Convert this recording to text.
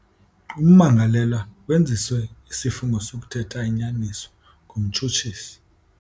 Ummangalelwa wenziswe isifungo sokuthetha inyaniso ngumtshutshisi.